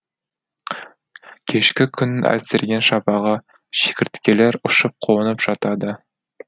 кешкі күннің әлсіреген шапағы шегірткелер ұшып қонып жатады